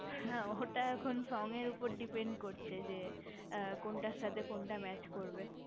হ্যা ওটা এখন song উপর depend করছে যে কোনটার সাথে কোনটা mass করবে